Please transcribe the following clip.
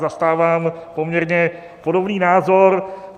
Zastávám poměrně podobný názor.